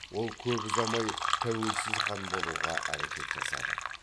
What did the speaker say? ол көп ұзамай тәуелсіз хан болуға әрекет жасады